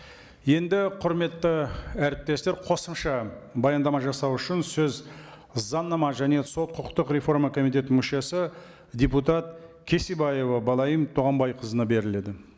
енді құрметті әріптестер қосымша баяндама жасау үшін сөз заңнама және сот құқықтық реформа комитетінің мүшесі депутат кесебаева балайым туғанбайқызына беріледі